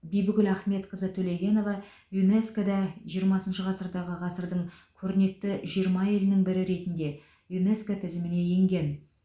бибігүл ахметқызы төлегенова юнеско да жиырмасыншы ғасырдағы ғасырдың көрнекті жиырма әйелінің бірі ретінде юнеско тізіміне енген